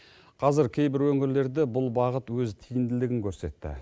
қазір кейбір өңірлерде бұл бағыт өз тиімділігін көрсетті